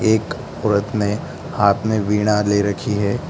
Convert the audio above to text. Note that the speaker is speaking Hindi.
एक औरत ने हाथ में वीणा ले रखी है।